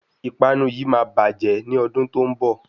Ìpanu yíì máa bàjẹ́ ní ọdún tó ń bọ̀.